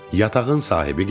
Yatağın sahibi gəlir.